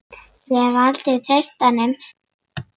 Ég hef aldrei treyst honum.